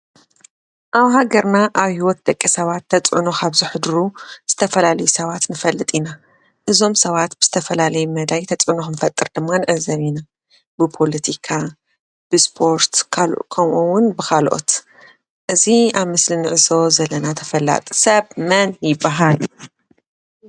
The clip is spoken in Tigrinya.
ኣብ ሃገርና ኣብ ህይወት ደቂ ሰባት ተፅዕኖ ካብ ዘሕድሩ ዝተፈላለዩ ሰባት ንፈልጥ ኢና፡፡ እዞም ሰባት ብዝተፈላለየ መዳይ ተፅዕኖ ክፈጥሩ ድማ ንዕዘብ ኢና፡፡ ብፖለቲካ፣ ብስፖርት ከምኡውን ብካልኦት፡፡ እዚ ኣብ ምስሊ ንዕዘቦ ዘለና ተፈላጢ ሰብ መን ይበሃል፡፡